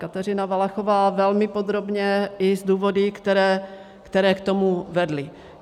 Kateřina Valachová velmi podrobně i s důvody, které k tomu vedly.